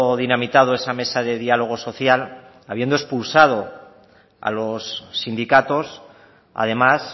dinamitado esa mesa de diálogo social habiendo expulsado a los sindicatos además